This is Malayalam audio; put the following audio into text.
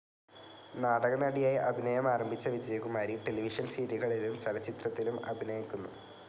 നാടകനടിയായി അഭിനയം ആരംഭിച്ച വിജയകുമാരി ടെലിവിഷൻ സീരിയലുകളിലും ചലച്ചിത്രത്തിലും അഭിനയിക്കുന്നു.